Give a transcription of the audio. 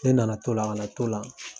Ne na na to o la ka na to la.